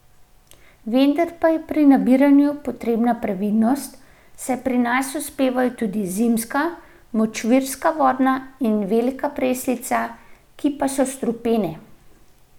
Vendar pa je pri nabiranju potrebna previdnost, saj pri nas uspevajo tudi zimska, močvirska vodna in velika preslica, ki pa so strupene.